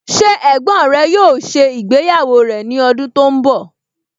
Ṣé ẹ̀gbọ́n rẹ yóò ṣe ìgbéyàwó rẹ̀ ní ọdún tó ń bọ̀?